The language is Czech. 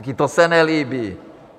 Také to se nelíbí.